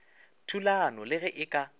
thulanong le ge e ka